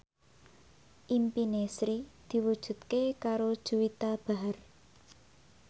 impine Sri diwujudke karo Juwita Bahar